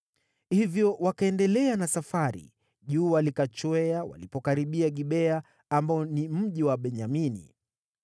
Hivyo wakaendelea na safari, jua likachwea walipokaribia Gibea ambao ni mji wa Benyamini.